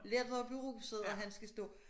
Lettere beruset og han skal stå